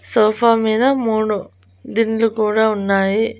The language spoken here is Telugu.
సోఫా మీద మూడు దిండ్లు కూడా ఉన్నాయి.